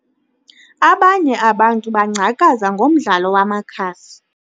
Abanye abantu bangcakaza ngomdlalo wamakhasi.